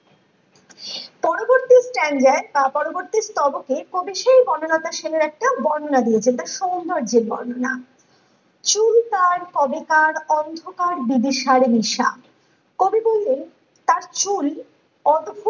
পরবর্তী পরবর্তী স্তবকে কবি সেই বনলতা সেনের একটা বর্ননা দিয়েছেন তার সৌন্দর্য্যের বর্ননা চুল তার কবেকার অন্ধকার বিভিসার নিশা কবি বললেন তার চুল অদ্ভুত